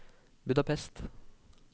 Budapest